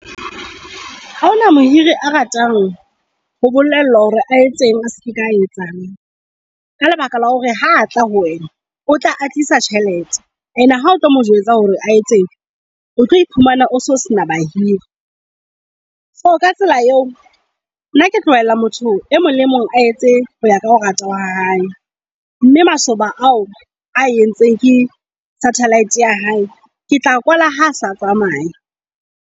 Ha hona mohiri a ratang ho bolellwa hore a etseng aska etsang. Ka lebaka la hore ha a tla ho wena o tla a tlisa tjhelete and ha o tlo mo jwetsa hore a etseng, o tlo iphumana o so sena bahiri. So ka tsela eo, nna ke tlohella motho e mong le mong a etse hoya ka ho rata ha hae. Mme masoba ao a entseng ke satellite ya hae, ke tla kwala ha asa tsamaya.